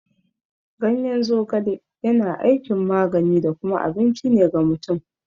Ganyen zogale yana aikin magani da kuma abinci ne ga mutum.